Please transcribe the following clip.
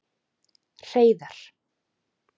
Hreiðar